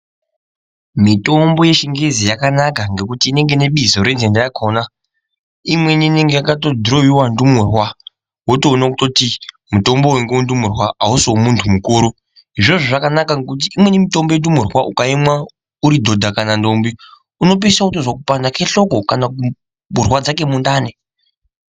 Mitombo yechingezi yakanaka ngekuti inenge ine bizo renhenda rakhona. Imweni inenge yakatodhiroiwa ndumurwa wotoona kuti mutombo uyu ngewendumurwa ausi wemuntu mukuru. Izvozvo zvakanaka ngekuti imweni mitombo yendumurwa ukaimwa uri dhodha kana ndombi unopedzisira wotozwa kupanda kwehloko kana kurwadza kwemundani.